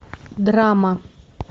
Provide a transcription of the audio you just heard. драма